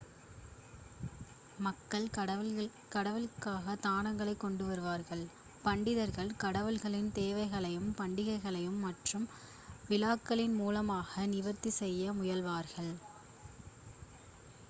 மக்கள் கடவுளுக்காக தானங்களை கொண்டுவருவர் பண்டிதர்கள் கடவுளின் தேவைகளை பண்டிகைகள் மற்றும் விழாக்களின் மூலமாக நிவர்த்தி செய்ய முயல்வார்கள்